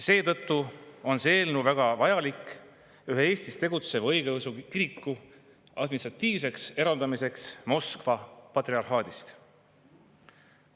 Seetõttu on see eelnõu väga vajalik ühe Eestis tegutseva õigeusu kiriku administratiivseks eraldamiseks Moskva patriarhaadist.